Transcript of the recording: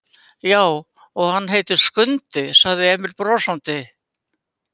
Já, og hann heitir Skundi, sagði Emil brosandi.